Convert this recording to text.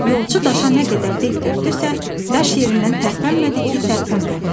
Yolçu daşa nə qədər dil tökdüsə, daş yerindən tərpənmədi ki, tərpənmədi.